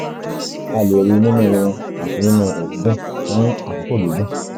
a lè rí i nínú irun àti nínú òógùn fún àkókò gígùn